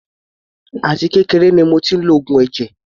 Àti kékeré ni mo tí ń lo oògùn ẹ̀jẹ̀.